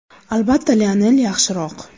Albatta, Lionel yaxshiroq.